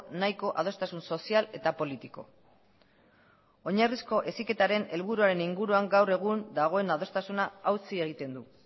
nahiko adostasun sozial eta politiko oinarrizko heziketaren helburuaren inguruan gaur egun dagoen adostasuna hautsi egiten du